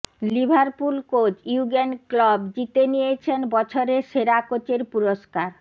Liverpool coach ইউগেন Klopp জিতে নিয়েছেন বছরের সেরা কোচের পুরস্কার